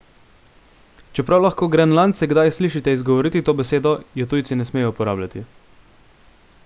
čeprav lahko grenlandce kdaj slišite izgovoriti to besedo je tujci ne smejo uporabljati